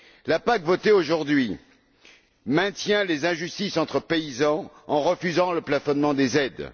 La PAC votée aujourd'hui maintient les injustices entre paysans par le refus du plafonnement des aides.